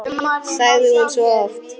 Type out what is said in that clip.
sagði hún svo oft.